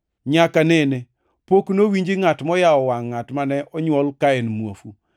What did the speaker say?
Nyaka nene pok nowinji ngʼat moyawo wangʼ ngʼat mane onywol ka en muofu.